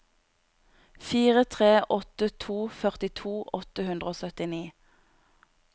fire tre åtte to førtito åtte hundre og syttini